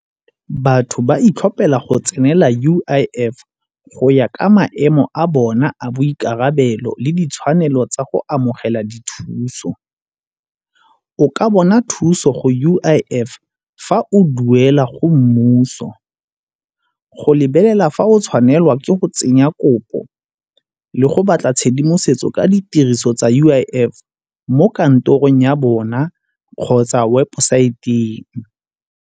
Batho ba itlhopela go tsenela U_I_F go ya ka maemo a bona a boikarabelo le ditshwanelo tsa go amogela dithuso. O ka bona thuso go U_I_F fa o duela go mmuso, go lebelela fa o tshwanelwa ke go tsenya kopo le go batla tshedimosetso ka ditiriso tsa U_I_F mo kantorong ya bona kgotsa wa puso.